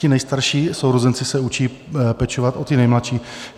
Ti nejstarší sourozenci se učí pečovat o ty nejmladší.